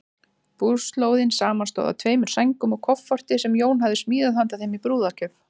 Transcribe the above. Búslóðin samanstóð af tveimur sængum og kofforti, sem Jón hafði smíðað handa þeim í brúðargjöf.